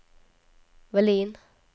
Vallin